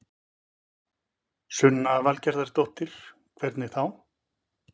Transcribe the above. Sunna Valgerðardóttir: Hvernig þá?